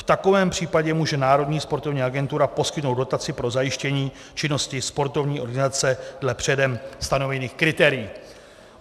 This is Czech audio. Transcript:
V takovém případě může Národní sportovní agentura poskytnout dotaci pro zajištění činnosti sportovní organizace dle předem stanovených kritérií.